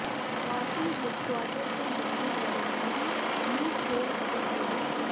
party headquarter ਤੋਂ ਜਾਰੀ ਬਿਆਨ ਰਾਹੀਂ ਮੀਤ ਹੇਅਰ ਅਤੇ ਪ੍ਰੋ